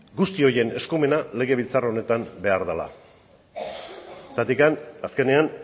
guzti horien eskumenak legebiltzar honetan behar dela azkenean